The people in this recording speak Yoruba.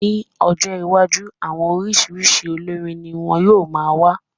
Ní ọjọ́ iwájú, àwọn oríṣiríṣi olórín ní wọn yóò má wà